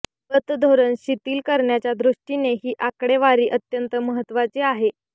पतधोरण शिथिल करण्याच्या दृष्टीने ही आकडेवारी अत्यंत महत्त्वाची आहे